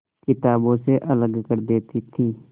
किताबों से अलग कर देती थी